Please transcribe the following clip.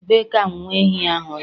Ebe ka nwa ehi ahụ nọ?